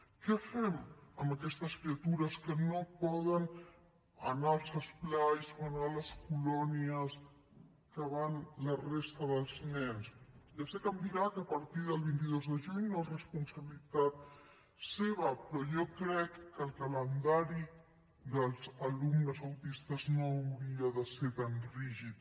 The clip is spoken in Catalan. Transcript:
què fem amb aquestes criatures que no poden anar als esplais o anar a les colònies que hi van la resta dels nens ja sé que em dirà que a partir del vint dos de juny no és responsabilitat seva però jo crec que el calendari dels alumnes autistes no hauria de ser tan rígid